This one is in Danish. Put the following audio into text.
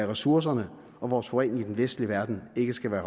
ressourcerne og vores forurening i den vestlige verden ikke skal være